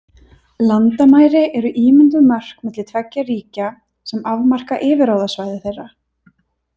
Landamæri eru ímynduð mörk milli tveggja ríkja, sem afmarka yfirráðasvæði þeirra.